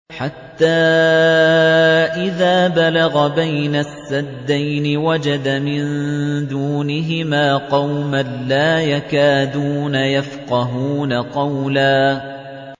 حَتَّىٰ إِذَا بَلَغَ بَيْنَ السَّدَّيْنِ وَجَدَ مِن دُونِهِمَا قَوْمًا لَّا يَكَادُونَ يَفْقَهُونَ قَوْلًا